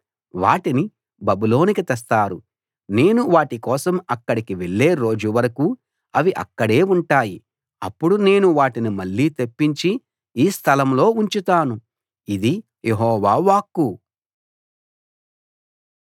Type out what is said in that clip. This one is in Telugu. వాటిని బబులోనుకు తెస్తారు నేను వాటి కోసం అక్కడికి వెళ్ళే రోజు వరకు అవి అక్కడే ఉంటాయి అప్పుడు నేను వాటిని మళ్ళీ తెప్పించి ఈ స్థలంలో ఉంచుతాను ఇది యెహోవా వాక్కు